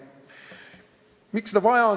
Miks seda palgatõusu vaja on?